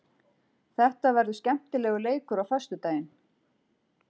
Þetta verður skemmtilegur leikur á föstudaginn.